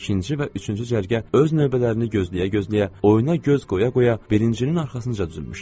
İkinci və üçüncü cərgə öz növbələrini gözləyə-gözləyə, oyuna göz qoya-qoya birincinin arxasınca düzülmüşdülər.